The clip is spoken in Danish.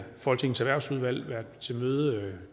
folketingets erhvervsudvalg været til møde